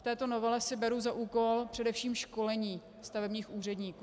V této novele si beru za úkol především školení stavebních úředníků.